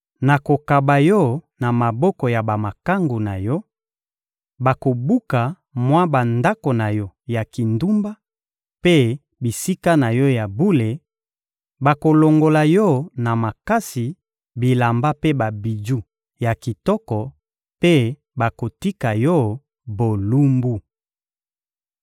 Nakokaba yo na maboko ya bamakangu na yo, bakobuka mwa bandako na yo ya kindumba mpe bisika na yo ya bule; bakolongola yo na makasi bilamba mpe babiju ya kitoko mpe bakotika yo bolumbu.